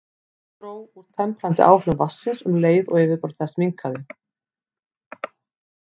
Það dró úr temprandi áhrifum vatnsins um leið og yfirborð þess minnkaði.